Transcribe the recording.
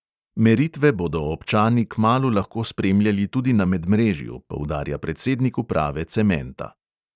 Meritve bodo občani kmalu lahko spremljali tudi na medmrežju, poudarja predsednik uprave cementa.